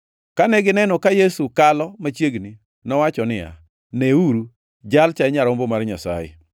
Kane gineno ka Yesu kalo machiegni, nowacho niya, “Neuru, Jalcha e Nyarombo mar Nyasaye!”